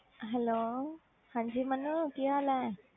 Hello ਹਾਂਜੀ ਮੰਨੂ ਕੀ ਹਾਲ ਹੈ?